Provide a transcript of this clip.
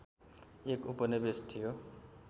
एक उपनिवेश थियो